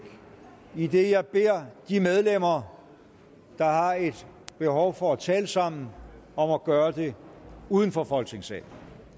idet jeg beder medlemmer der har et behov for at tale sammen om at gøre det uden for folketingssalen